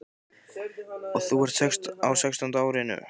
Og þú ert á sextánda árinu.